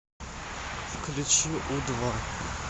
включи у два